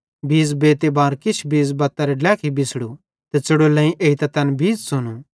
बीज़ बेते बार किछ बीज़ बत्तेरे ड्लेखी बिछ़ड़ू त च़ुड़ोल्लेईं एइतां तैन बीज़ च़ुनू